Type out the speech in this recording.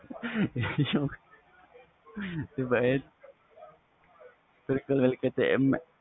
ਬਿਲਕੁਲ ਬਿਲਕੁਲ